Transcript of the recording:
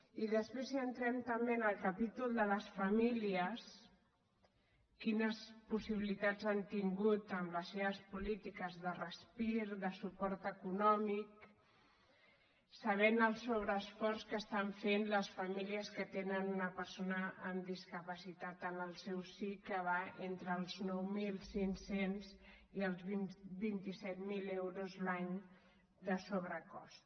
i després si entrem també en el capítol de les famílies quines possibilitats han tingut amb les seves polítiques de respir de suport econòmic sabent el sobreesforç que estan fent les famílies que tenen una persona amb discapacitat en el seu si que va entre els nou mil cinc cents i els vint set mil euros l’any de sobrecost